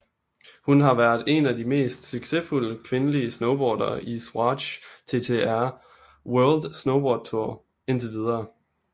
Hun har været en af de mest succesfulde kvindelige snowboardere i Swatch TTR World Snowboard Tour indtil videre